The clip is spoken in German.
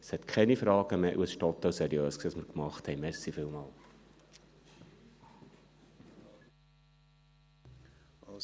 Es gibt keine Fragen mehr, und was wir gemacht haben, war total seriös.